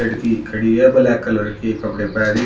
लड़की खड़ी है ब्लैक कलर की कपड़े पेहनी।